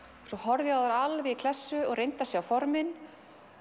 svo horfði ég á þær alveg í klessu og reyndi að sjá formin